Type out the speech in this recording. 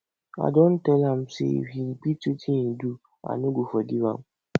i don tell am say if he repeat wetin he do i no go forgive am